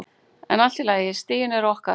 En allt í lagi, stigin eru okkar.